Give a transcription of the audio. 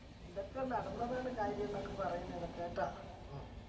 ഇതൊക്കെ നടന്നതാണ് കാര്യംന്നൊക്കെ പറയുന്നത് കേട്ടാ